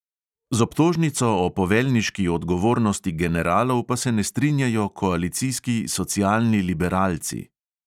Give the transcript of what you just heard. Z obtožnico o poveljniški odgovornosti generalov pa se ne strinjajo koalicijski socialni liberalci.